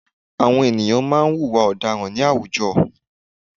Àwọn ènìyàn má a nwùwà ọ̀daràn ní àwùjọ